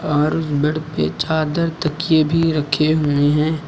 और बेड पे चादर तकिया रखे हुए हैं।